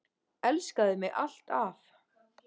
Elskaðu mig alt af.